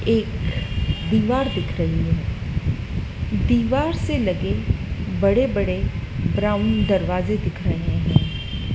एक दीवार दिख रही है दीवार से लगे बड़े-बड़े ब्राउन दरवाजे दिख रहे हैं।